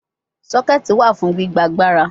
Soketi wa fun gbigba agbara